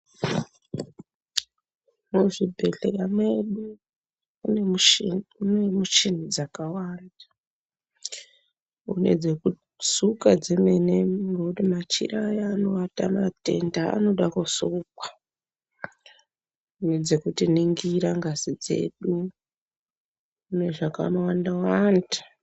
Muzvibhedhlera medu mune michini dzakawanda kune dzekusuka dzemene nekuti machira aya anovata matenda anoda kusukwa. Nedzekuti ningira ngazi dzedu nezvakanowanda-wanda.